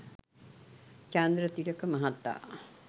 චන්ද්‍රතිලක මහතා